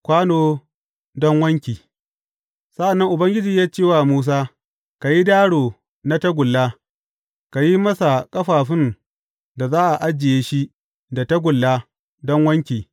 Kwano don wanki Sa’an nan Ubangiji ya ce wa Musa, Ka yi daro na tagulla, ka yi masa ƙafafun da za a ajiye shi da tagulla don wanki.